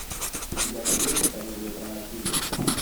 у тебя найдется комедия про насилие